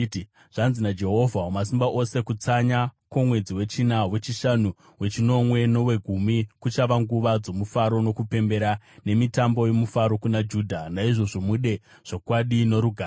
Zvanzi naJehovha Wamasimba Ose: “Kutsanya kwomwedzi wechina, wechishanu, wechinomwe nowegumi kuchava nguva dzomufaro nokupembera, nemitambo yomufaro kuna Judha. Naizvozvo mude zvokwadi norugare.”